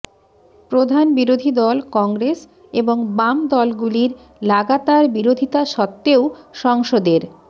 প্রধান বিরোধী দল কংগ্রেস এবং বাম দলগুলির লাগাতার বিরোধিতা সত্ত্বেও সংসদের